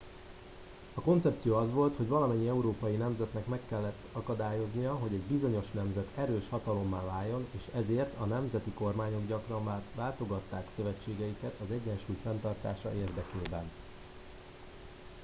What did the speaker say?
a koncepció az volt hogy valamennyi európai nemzetnek meg kellett akadályoznia hogy egy bizonyos nemzet erős hatalommá váljon és ezért a nemzeti kormányok gyakran váltogatták szövetségeiket az egyensúly fenntartása érdekében